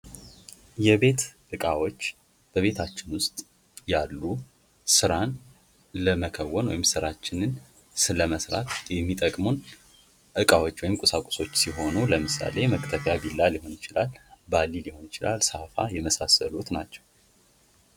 የቤት ዕቃዎች በቤታችን ውስጥ ያሉ ስራን ለመከወን ወይም ስራችንን ለመስራት የሚጠቅሙን እቃዎች ወይም ቁሳቁሶች ሲሆኑ ለምሳሌ መክተፊያ ቢላ ሊሆን ይችላል ባልዲ ሊሆን ይችላል ሳፋ የመሳሰሉት ናቸው።